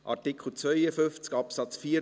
Artikel 52 Absatz 4